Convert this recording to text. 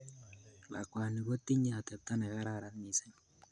lakwani kotinye atepta nekararan missing